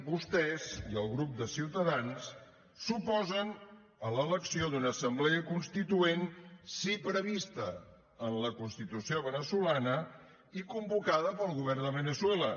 vostès i el grup de ciutadans s’oposen a l’elecció d’una assemblea constituent sí prevista en la constitució veneçolana i convocada pel govern de veneçuela